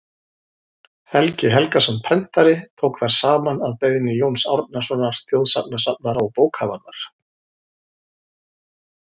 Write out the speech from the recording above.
helgi helgason prentari tók þær saman að beiðni jóns árnasonar þjóðsagnasafnara og bókavarðar